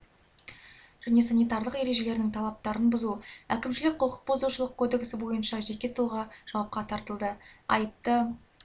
және санитарлық ережелерінің талаптарын бұзу әкімшілік құқық бұзушылық кодексі бойынша жеке тұлға жауапқа тартылды айыпты